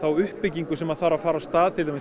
uppbyggingu sem þarf að fara af stað til dæmis